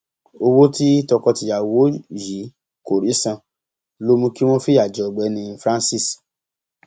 owó tí tọkọtìyàwó yìí kò rí san ló mú kí wọn fìyà jẹ ọgbẹni francise